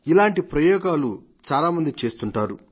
ఇలాంటి ప్రయోగాలు చాలా మంది చేస్తుంటారు